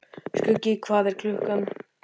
Skuggi, hvað er klukkan?